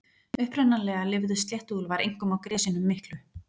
Upprunalega lifðu sléttuúlfar einkum á gresjunum miklu.